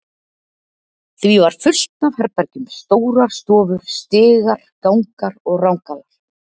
því var fullt af herbergjum, stórar stofur, stigar, gangar og rangalar.